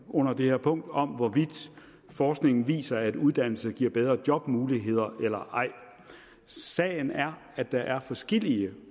under det her punkt om hvorvidt forskningen viser at uddannelse giver bedre jobmuligheder eller ej sagen er at der er forskellige